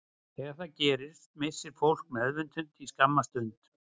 Þegar það gerist missir fólk meðvitund í skamma stund.